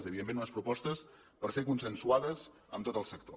evidentment unes propostes per ser consensuades amb tot el sector